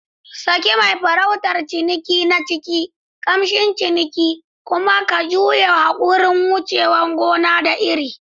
Saki mai farautar ciniki na ciki, kamshin ciniki, kuma ka guji yunƙurin wuce gona da iri.